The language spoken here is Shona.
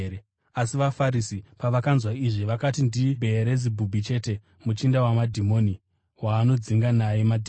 Asi vaFarisi pavakanzwa izvi, vakati, “NdiBheerizebhubhi chete, muchinda wamadhimoni, waanodzinga naye madhimoni.”